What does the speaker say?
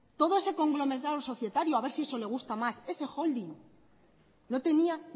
todo ese conglomerado societario a ver si eso le gusta más ese holding no tenía